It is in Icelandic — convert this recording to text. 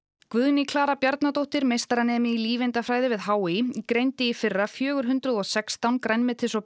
Guðný Klara Bjarnadóttir meistaranemi í lífeindafræði við h í greindi í fyrra fjögur hundruð og sextán grænmetis og